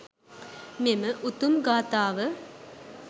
මෙම උතුම් ගාථාව